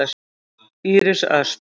Íris Ösp.